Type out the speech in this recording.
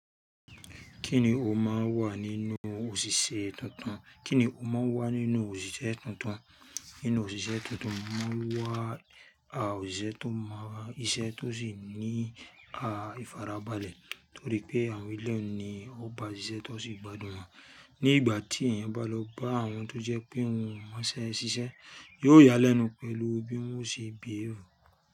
Kíni o máa wà nínú òṣìṣẹ́ tuntun? Kíni o máa wà nínú òṣìṣẹ́ tuntun? Nínú òṣìṣẹ́ tuntun, o máa wà a òṣìṣẹ́ tó mọ isẹ́ tó sì ní a ìfarabalẹ̀ torí pé àwọn eleyi ni ó bá iṣẹ́ tó sì gbádùn wọn. Ní ìgbà tí èèyàn bá lọ bá àwọn tó jẹ́ pé òun mọṣẹ́ ṣiṣẹ́, yóò yálẹ́nu pẹ̀lú bí wọn ó ṣe bí è ru.